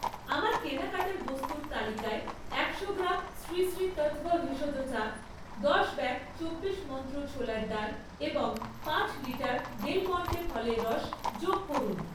আমার কেনাকাটা বস্তুর তালিকায় একশো গ্রাম শ্রী শ্রী তৎভ ভেষজ চা, দশ ব্যাগ দুই চব্বিশ মন্ত্র ছোলার ডাল এবং পাঁচ লিটার ডেল মন্টে ফলের রস যোগ করুন